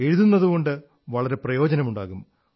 എഴുതുന്നതുകൊണ്ട് വളരെ പ്രയോജനമുണ്ടാകും